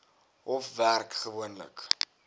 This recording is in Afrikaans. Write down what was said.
hof werk gewoonlik